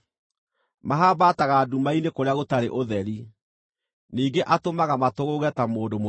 Mahambaataga nduma-inĩ kũrĩa gũtarĩ ũtheri; ningĩ atũmaga matũgũũge ta mũndũ mũrĩĩu.